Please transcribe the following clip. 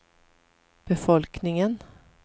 befolkningen